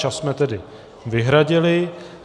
Čas jsme tedy vyhradili.